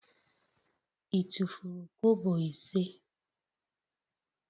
I tufuru kobo ise?